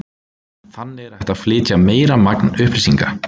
Þannig er hægt að flytja meira magn upplýsinga.